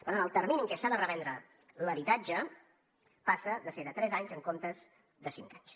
per tant el termini en què s’ha de revendre l’habitatge passa de ser de tres anys en comptes de cinc anys